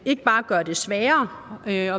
ikke bare gør det sværere at være